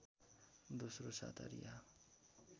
दोस्रो साता रिहा